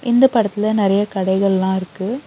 இந்தப் படத்துல நெறைய கடைகள்லா இருக்கு.